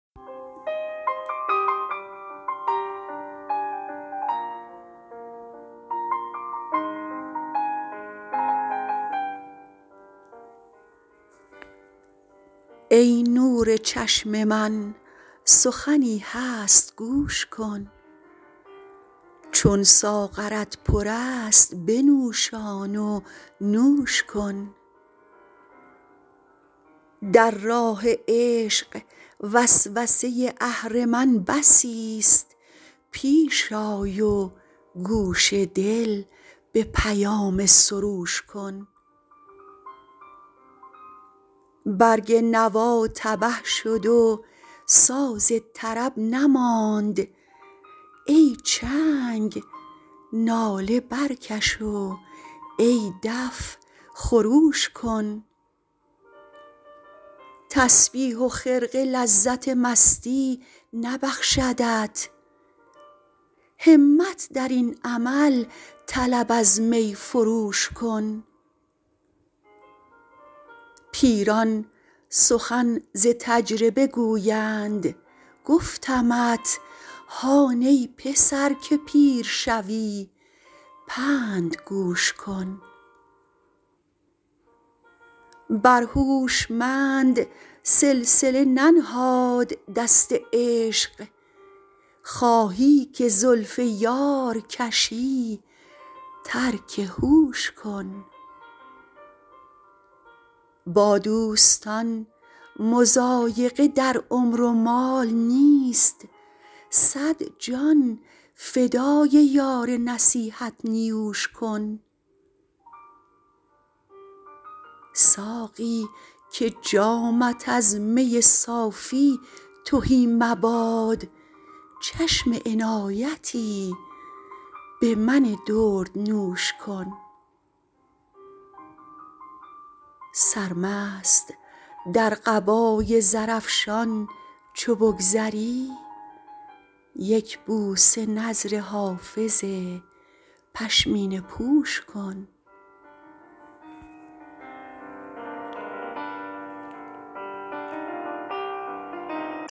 ای نور چشم من سخنی هست گوش کن چون ساغرت پر است بنوشان و نوش کن در راه عشق وسوسه اهرمن بسیست پیش آی و گوش دل به پیام سروش کن برگ نوا تبه شد و ساز طرب نماند ای چنگ ناله برکش و ای دف خروش کن تسبیح و خرقه لذت مستی نبخشدت همت در این عمل طلب از می فروش کن پیران سخن ز تجربه گویند گفتمت هان ای پسر که پیر شوی پند گوش کن بر هوشمند سلسله ننهاد دست عشق خواهی که زلف یار کشی ترک هوش کن با دوستان مضایقه در عمر و مال نیست صد جان فدای یار نصیحت نیوش کن ساقی که جامت از می صافی تهی مباد چشم عنایتی به من دردنوش کن سرمست در قبای زرافشان چو بگذری یک بوسه نذر حافظ پشمینه پوش کن